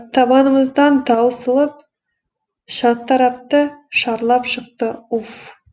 табанымыздан таусылып шартарапты шарлап шықты уф